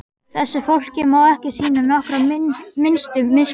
Þessu fólki má ekki sýna nokkra minnstu miskunn!